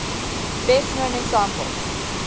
best known example